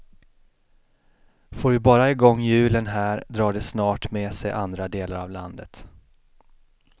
Får vi bara igång hjulen här, drar det snart med sig andra delar av landet.